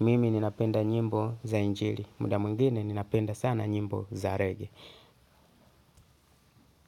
mimi ninapenda nyimbo za injili, muda mwingine ninapenda sana nyimbo za rege.